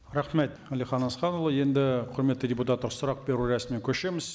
рахмет әлихан асханұлы енді құрметті депутаттар сұрақ беру рәсіміне көшеміз